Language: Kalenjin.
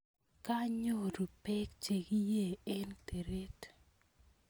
Kanyoru pek chekiey eng' teret